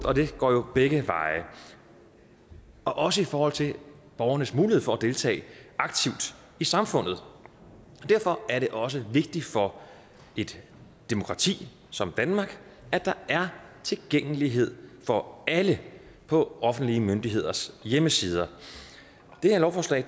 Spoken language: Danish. og det går jo begge veje og også i forhold til borgernes mulighed for at deltage aktivt i samfundet derfor er det også vigtigt for et demokrati som danmark at der er tilgængelighed for alle på offentlige myndigheders hjemmesider det her lovforslag